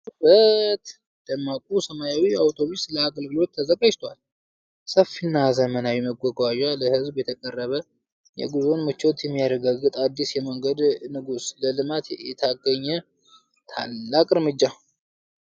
አቤት ውበት! ደማቁ ሰማያዊ አውቶቡስ ለአገልግሎት ተዘጋጅቷል! ሰፊና ዘመናዊ መጓጓዣ ለሕዝብ የቀረበ! የጉዞን ምቾት የሚያረጋግጥ አዲስ የመንገድ ንጉሥ! ለልማት የተገኘ ታላቅ እርምጃ!